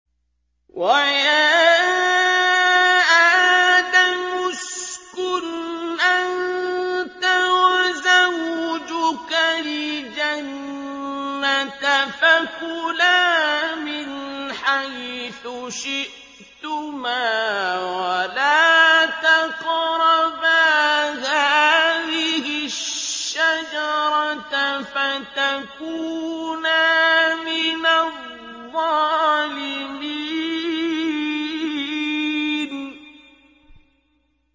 وَيَا آدَمُ اسْكُنْ أَنتَ وَزَوْجُكَ الْجَنَّةَ فَكُلَا مِنْ حَيْثُ شِئْتُمَا وَلَا تَقْرَبَا هَٰذِهِ الشَّجَرَةَ فَتَكُونَا مِنَ الظَّالِمِينَ